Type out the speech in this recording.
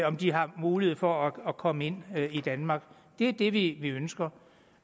om de har mulighed for at komme ind i danmark det er det vi ønsker